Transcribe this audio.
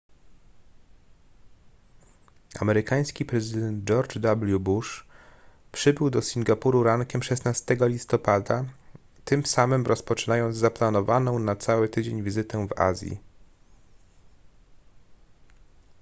amerykański prezydent george w bush przybył do singapuru rankiem 16 listopada tym samym rozpoczynając zaplanowaną na cały tydzień wizytę w azji